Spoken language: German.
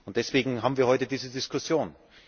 Deswegen haben wir heute diese Diskussion.